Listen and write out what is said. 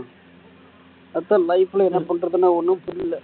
அதான் life ல என்ன பண்றதுன்னா ஒண்ணும் புரியல